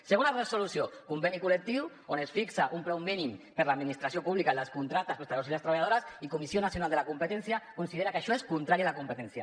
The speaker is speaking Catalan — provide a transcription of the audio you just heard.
segona resolució conveni col·lectiu on es fixa un preu mínim per a l’administració pública en els contractes per als treballadors i les treballadores i la comissió nacional de la competència considera que això és contrari a la competència